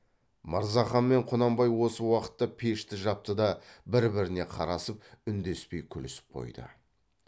мырзахан мен құнанбай осы уақытта пешті жапты да бір біріне қарасып үндеспей күлісіп қойды